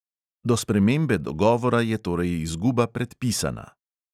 Do spremembe dogovora je torej izguba "predpisana".